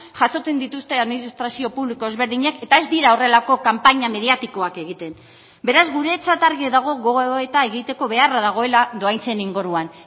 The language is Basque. jasotzen dituzte administrazio publiko ezberdinek eta ez dira horrelako kanpaina mediatikoak egiten beraz guretzat argi dago gogoeta egiteko beharra dagoela dohaintzen inguruan